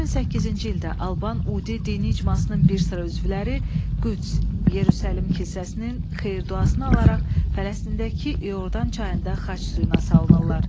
2008-ci ildə Alban Udi dini icmasının bir sıra üzvləri Qüds, Yerusəlim kilsəsinin xeyir-duasını alaraq Fələstindəki İordan çayında xaç suyuna salınırlar.